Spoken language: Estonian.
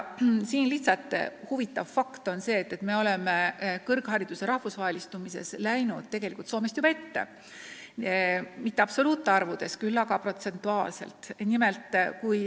Huvitav fakt on aga see, et me oleme kõrghariduse rahvusvahelistumises Soomest juba ette läinud – mitte absoluutarvudes, küll aga protsentuaalselt.